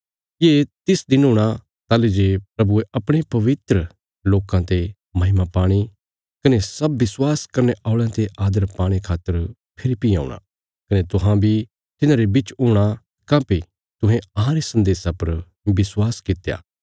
ये तिस दिन हूणा ताहली जे प्रभुये अपणे पवित्र लोकां ते महिमा पाणे कने सब विश्वास करने औल़यां ते आदर पाणे खातर फेरी भीं औंणा कने तुहां बी तिन्हांरे बिच हूणा काँह्भई तुहें अहांरे सन्देशा पर विश्वास कित्या